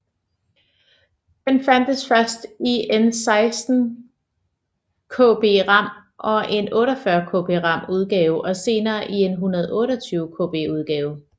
Den fandtes først i en 16Kb RAM og en 48Kb RAM udgave og senere i en 128Kb udgave